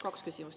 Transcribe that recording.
Kaks küsimust.